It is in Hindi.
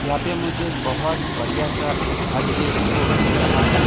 यहाँ पे मुझे एक बहुत बढ़िया सा छत दिखने को मिल रहा है।